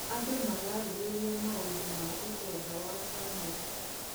Andũ mararĩrĩria maũndũ ma ũtonga wa bamĩrĩ.